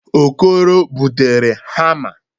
Okoro butere hamma.